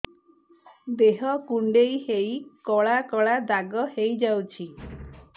ଦେହ କୁଣ୍ଡେଇ ହେଇ କଳା କଳା ଦାଗ ହେଇଯାଉଛି